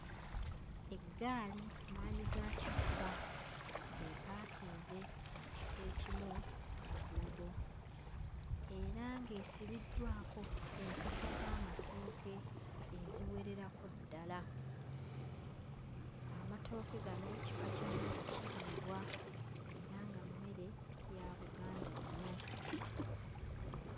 Eggaali maanyigakifuba ng'epaakinze mu kifo ekimu ku luguudo era ng'esibiddwako enkota z'amatooke eziwererako ddala. Amatooke gano kika kya mmere kiriibwa era nga mmere ya Buganda nnyo.